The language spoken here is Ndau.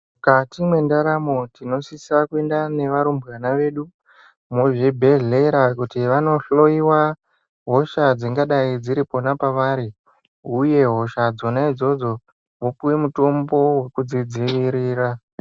Mukati mwendaramo tinosisa kuenda nearumbwana vedu muzvibhedhlera, kuti vanohloiwa hosha dzingadai dziri pona pavari, uye hosha dzona idzodzo vopuwe mutombo wekudzidziirira.